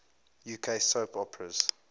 uk soap operas